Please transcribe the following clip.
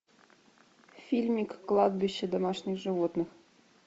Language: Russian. фильмик кладбище домашних животных